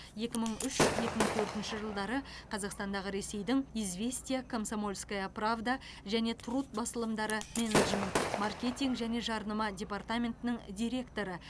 екі мың үш екі мың төртінші жылдары қазақстандағы ресейдің известия комсомольская правда және труд басылымдары менеджмент маркетинг және жарнама департаментінің директоры